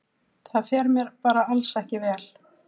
Það fer mér bara alls ekki vel.